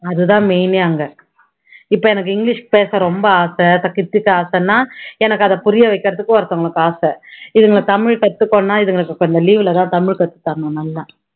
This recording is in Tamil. அது தான் main ஏ அங்க இப்போ எனக்கு english பேச ரொம்ப ஆசை கத்துக்க ஆசைன்னா எனக்கு அதை புரிய வைக்குறதுக்கு ஒருத்தவங்களுக்கு இதுங்களை தமிழ் கத்துக்கோன்னா இதுங்களுக்கு இப்போ leave ல தான் கத்து தரணும் நல்லா